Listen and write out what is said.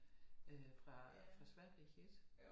Øh fra fra Sverige ik